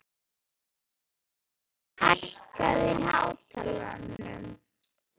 Geirný, hækkaðu í hátalaranum.